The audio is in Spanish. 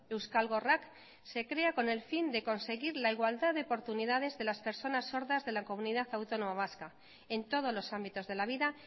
euskal gorrak se crea con el fin de conseguir la igualdad de oportunidades de las personas sordas de la comunidad autónoma vasca en todos los ámbitos de la vida